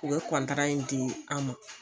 U ye di an ma